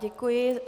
Děkuji.